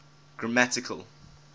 grammatical